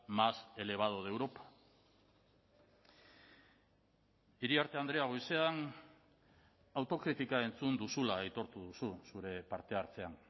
más elevado de europa iriarte andrea goizean autokritika entzun duzula aitortu duzu zure parte hartzean